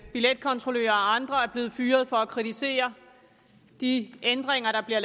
billetkontrollører og andre er blevet fyret for at kritisere de ændringer der bliver